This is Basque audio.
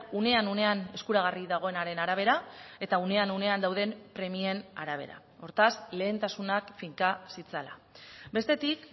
unean unean eskuragarri dagoenaren arabera eta unean unean dauden premien arabera hortaz lehentasunak finka zitzala bestetik